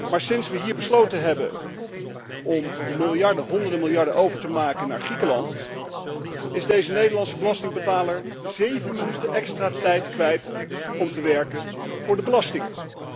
Maar sinds we hier besloten hebben om miljarden, honderden miljarden over te maken naar Griekenland is deze Nederlandse belastingbetaler 7 minuten extra tijd kwijt om te werken voor de belastingen.